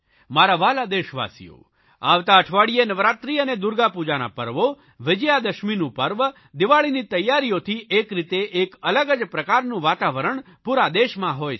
મારા વ્હાલા દેશવાસીઓ આવતા અઠવાડિયે નવરાત્રિ અને દુર્ગાપૂજાના પર્વો વિજયાદશમીનું પર્વ દિવાળીની તૈયારીઓની એક રીતે એક અલગ જ પ્રકારનું વાતાવરણ પૂરા દેશમાં હોય છે